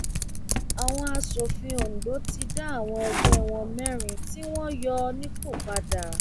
àwọn aṣòfin ondo ti dá àwọn ẹgbẹ wọn mẹrin tí wọn yọ nípò padà